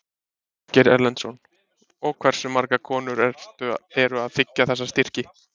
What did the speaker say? Ásgeir Erlendsson: Og hversu margar konur eru að þiggja þessa styrki?